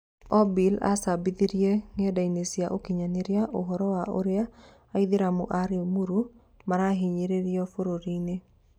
Obil acabithirie ng'enda-inĩ cia ũkinyanĩria ũhoro wa ũrĩa Aithĩramu a Rĩmuru marahinyĩrĩrio bũrũri-inĩ.